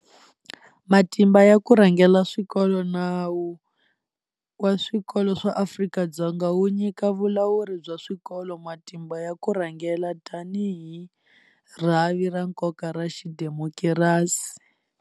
Matimba ya ku rhangela swikolo Nawu wa Swikolo swa Afrika-Dzonga wu nyika vulawuri bya swikolo matimba ya ku rhangela tanihi rhavi ta nkoka ra xidemokirasi.